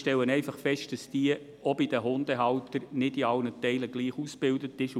Ich stelle einfach fest, dass diese auch bei den Hundehaltern nicht in allen Teilen gleich ausgebildet ist.